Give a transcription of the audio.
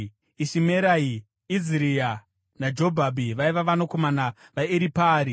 Ishimerai, Iziria naJobhabhi vaiva vanakomana vaEripaari.